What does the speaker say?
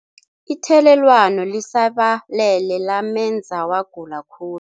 Ithelelwano lisabalele lamenza wagula khu